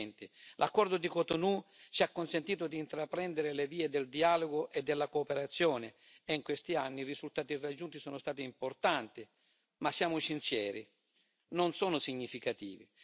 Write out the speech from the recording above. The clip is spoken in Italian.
2020. L'accordo di Cotonou ci ha consentito di intraprendere le vie del dialogo e della cooperazione e in questi anni i risultati raggiunti sono stati importanti, ma siamo sinceri, non sono significativi.